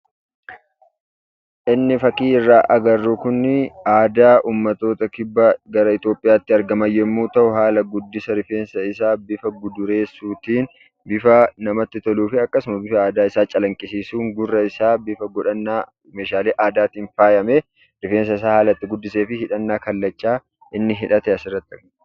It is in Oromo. Inni fakkii irraa agarru kuni aadaa uummattoota kibbaa gara Itoophiyaatti argaman yommuu ta'u, haala guddisa rifeensa isaa bifa gudureessuutiin, bifa namatti toluufi akkasuma bifa aadaa isaa calaqqisiisuun gurra isaa bifa godhannaa meeshaalee aadaatiin faayamee, rifeensa isaa haala itti guddisee fi hidhannaa kallachaa inni hidhate asirratti argina.